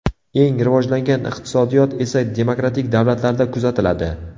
Eng rivojlangan iqtisodiyot esa demokratik davlatlarda kuzatiladi.